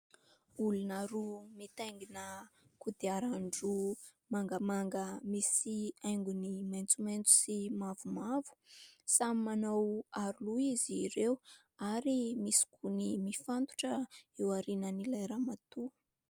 Olona roa mitaingina kodiaran-droa mangamanga misy haingony maitsomaitso sy mavomavo. Samy manao aro loha izy ireo ary misy gony mifatotra eo aorian'ilay ramatoa.